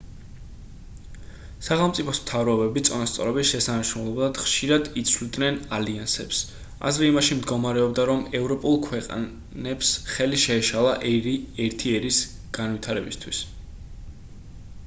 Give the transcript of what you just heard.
სახელმწიფოს მთავრობები წონასწორობის შესანარჩუნებლად ხშირად იცვლიდნენ ალიანსებს აზრი იმაში მდგომარეობდა რომ ევროპულ ქვეყანებს ხელი შეეშალა ერთი ერის გაძლიერებისთვის